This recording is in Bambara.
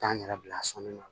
Taa n yɛrɛ bila sɔnni na